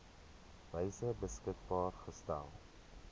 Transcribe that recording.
wyse beskikbaar gestel